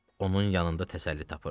onun yanında təsəlli tapırdı.